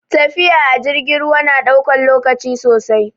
Tafiya a jirgin ruwa na ɗaukan lokaci sosai